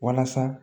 Walasa